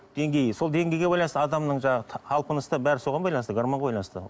деңгейі сол деңгейге байланысты адамның жанағы талпынысы да бәрі соған байланысты гармонға байланысты